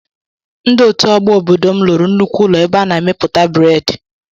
Ndị ọtú ọgbọ ọbọdọ m lụrụ nnukwu ụlọ ebe ana emepụta breedi.